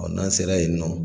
n'an sera yen nɔ